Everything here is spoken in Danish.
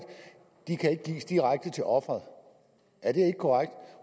ikke kan gives direkte til offeret